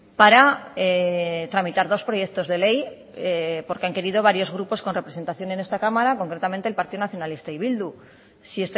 para tramitar dos proyectos de ley porque han querido varios grupos con representación en esta cámara concretamente el partido nacionalista y bildu si